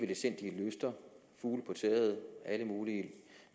letsindige løfter fugle på taget alle mulige